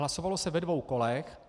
Hlasovalo se ve dvou kolech.